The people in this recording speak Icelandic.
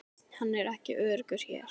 Hann er ekki öruggur hér